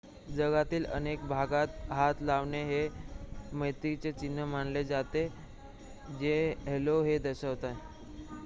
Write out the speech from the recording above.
जगातील अनेक भागात हात हलवणे हे मैत्रीचे चिन्ह मानले जाते जे हॅलो हे दर्शवते